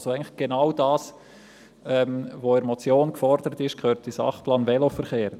Eigentlich gehört genau das, was also in der Motion gefordert ist, in den Sachplan Veloverkehr.